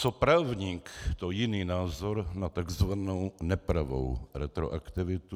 Co právník, to jiný názor na takzvanou nepravou retroaktivitu.